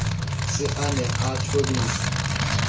se a ne a thobise